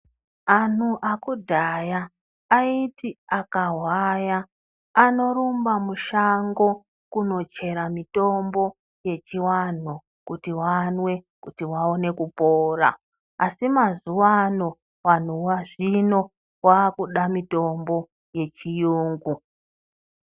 Anhu ekudhaya aiti akahwaya anorumba mushango kundochera mitombo yechiwanhu kuti vamwe kuti vaone kupora asi mazuwano vanhu vazvino vakuda mitombo yechiyungu.